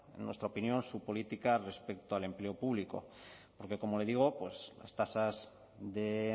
en nuestra opinión su política respecto al empleo público porque como le digo pues las tasas de